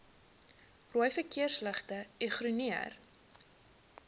rooi verkeersligte ignoreer